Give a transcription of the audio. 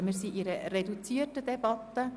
Wir führen eine reduzierte Debatte.